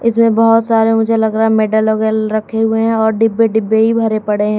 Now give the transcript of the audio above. इसमें बहोत सारे मुझे लग रहा है मेडल वगैरा रखे हुए हैं और डिब्बे डिब्बे ही भरे पड़े हैं।